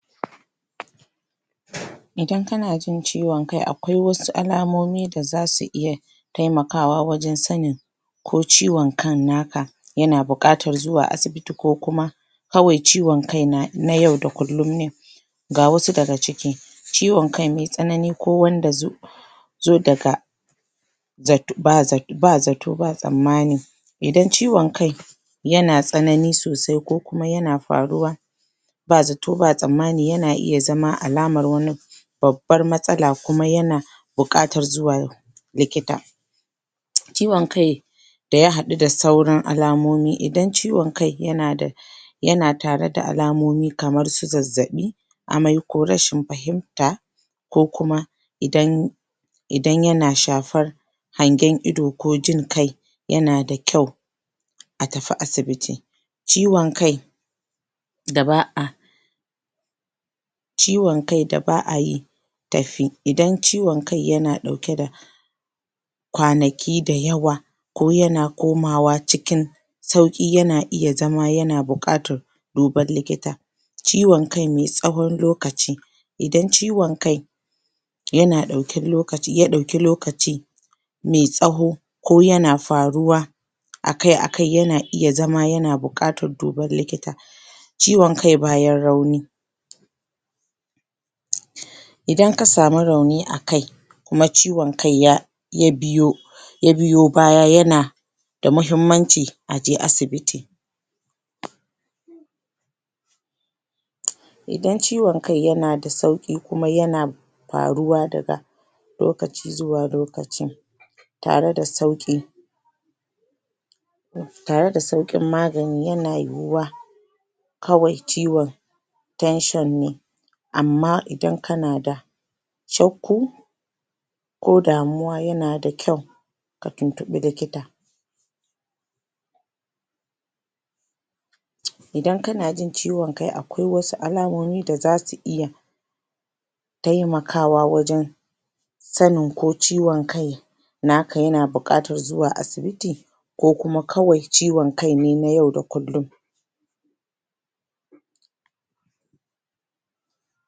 Idan kana jin ciwon kai akwai wasu alamomi da za su iya taimakawa wajen sanin ko ciwonkan naka yana buƙatar zuwa asibiti ko kuwa kawai ciwon kai ne na yau da kullum. ga wasu dag ciki ciwon kai mai tsanani ko wanda ya za daga ba zato ba tsammani idan ciwon kai yana tsanani sosai ko kuma yana faruwa ba zato ba tsammani yana iya zama alamar wani babbar matsala kuma yana buƙatar zuwa wajen likita Ciwon kai da ya haɗu da sauran alamomi idan ciwon kai yana tare da alamomi kamar su zazzaɓi amai ko rashin fahimta ko kuma idan idan yana shafar hangen ido ko jin kai, yana da kyau a tafi asibiti. ciwon kaida ba da ba a ciwon kai da ba a yi tafi idan ciwon kai yana ɗauke da kwanaki da yawa ko yana komawa cikin sauƙi yana iya zama yana buƙatar duban likita. ciwon kai mai tsawon lokaci idan ciwon kai ya ɗauki lokaci mai tsawo ko yana faruwa akai-akai yana iya zama yana buƙatar duban likita. Ciwon kai bayan rauni idan ka samu rauni a kai kuma ciwon kai ya biyo ya biyo baya yana da muhimmanci a je asibiti. Idan ciwon kai yana da sauƙi kuma yana faruwa daga lokaci zuwa lokaci tare da sauƙi tare da sauƙin magani yana yiwuwa kawai ciwon tension ne amma idan kana da shakku ko damuwa yana da kyau ka tuntuɓi likita. Idan kana jin ciwon kai akwai wasu alamomi da za su iya taimakawa wajen sanin ko ciwon kai naka yana buƙatar zuwa asibiti ko kuma kawai ciwon kai ne na yau da kullum.